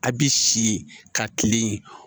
A bi si ka kilen